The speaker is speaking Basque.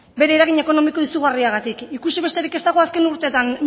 bere eragin ekonomiko izugarriagatik ikusi besterik ez dago azken urteetan